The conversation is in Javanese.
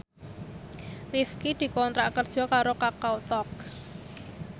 Rifqi dikontrak kerja karo Kakao Talk